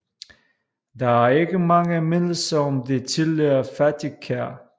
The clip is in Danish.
Der er ikke mange mindelser om det tidligere fattigkær